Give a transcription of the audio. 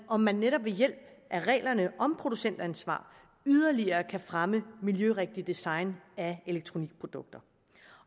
om man netop ved hjælp af reglerne om producentansvar yderligere kan fremme miljørigtigt design af elektronikprodukter